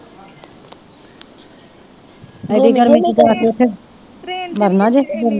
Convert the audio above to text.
ਏਡੀ ਗਰਮੀ ਚ ਜਾ ਕੇ ਉੱਥੇ ਮਰਨਾ ਜੇ।